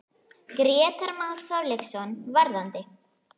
Grétar Már Þorkelsson: Varðandi?